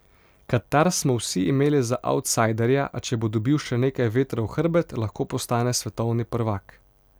Katar smo vsi imeli za avtsajderja, a če bo dobil še nekaj vetra v hrbet, lahko postane svetovni prvak.